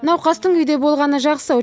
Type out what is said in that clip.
науқастың үйде болғаны жақсы